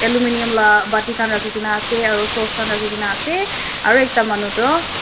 aluminum bati khan rakhi kina ase aru source khan rakhi kina ase aru ekta manu tu--